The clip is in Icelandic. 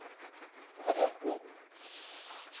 Og nota þarf rétt lyf.